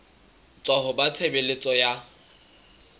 tswa ho ba tshebeletso ya